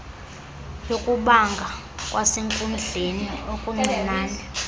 yokubanga kwasenkundleni okuncincne